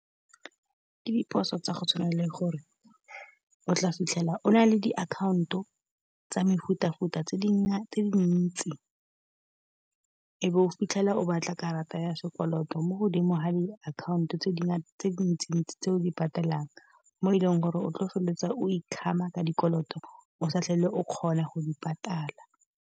Ke diphoso tsa go tshwana le gore o tla fitlhela o na le diakhaonto tsa mefutafuta tse dingwe tse dintsi. E be o fitlhela o batla karata ya sekoloto mo godimo ga diakhaonto tse dintsi-ntsi tse o di patelang, mo e leng gore o tlo feleletsa o ikgama ka dikoloto o sa tlhole o kgona go di patala.